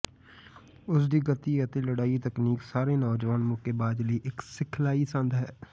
ਉਸ ਦੀ ਗਤੀ ਅਤੇ ਲੜਾਈ ਤਕਨੀਕ ਸਾਰੇ ਨੌਜਵਾਨ ਮੁੱਕੇਬਾਜ਼ ਲਈ ਇਕ ਸਿਖਲਾਈ ਸੰਦ ਹੈ